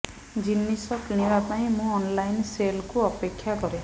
ଜିନିଷ କିଣିବା ପାଇଁ ମୁଁ ଅନ୍ଲାଇନ୍ ସେଲ୍କୁ ଅପେକ୍ଷା କରେ